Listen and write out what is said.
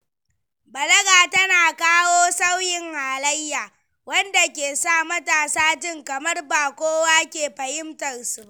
Balaga tana kawo sauyin halayya, wanda ke sa matasa jin kamar ba kowa ke fahimtar su ba.